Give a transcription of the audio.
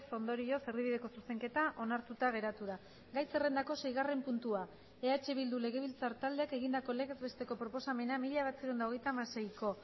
ondorioz erdibideko zuzenketa onartuta geratu da gai zerrendako seigarren puntua eh bildu legebiltzar taldeak egindako legez besteko proposamena mila bederatziehun eta hogeita hamaseiko